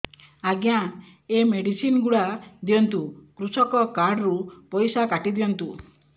ଆଜ୍ଞା ଏ ମେଡିସିନ ଗୁଡା ଦିଅନ୍ତୁ କୃଷକ କାର୍ଡ ରୁ ପଇସା କାଟିଦିଅନ୍ତୁ